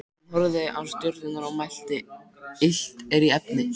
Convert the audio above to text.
Hann horfði á stjörnurnar og mælti: Illt er í efni.